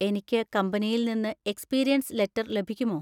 എനിക്ക് കമ്പനിയിൽ നിന്ന് എക്സ്പീരിയൻസ് ലെറ്റർ ലഭിക്കുമോ?